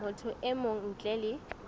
motho e mong ntle le